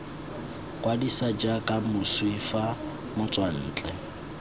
kwadisa jaaka moswi fa motswantle